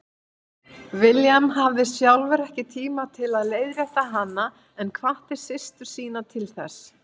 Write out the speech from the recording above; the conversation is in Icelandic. William hafði sjálfur ekki tíma til að leiðrétta hana en hvatti systur sína til þess.